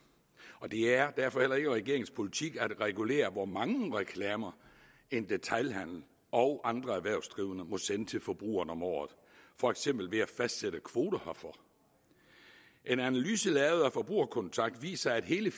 det er derfor heller ikke regeringens politik at regulere hvor mange reklamer en detailhandel og andre erhvervsdrivende må sende til forbrugerne om året for eksempel ved at fastsætte kvoter herfor en analyse lavet af forbruger kontakt viser at hele